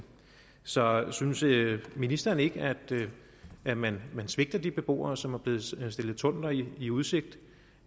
så synes synes ministeren ikke at man svigter de beboere som er blevet stillet tunneller i udsigt